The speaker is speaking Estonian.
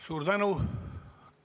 Suur tänu!